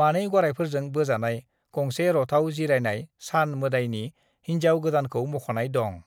मानै गरायफोरजों बोजानाय गंसे रथआव जिरायनाय सान मोदायनि हिनजाव गोदानखौ मख'नाय दं।"